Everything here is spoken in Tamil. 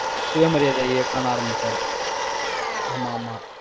சுயமரியாதை இயக்கம்னு ஆரம்பிச்சாரு ஆமா, ஆமா.